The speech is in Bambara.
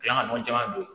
caman don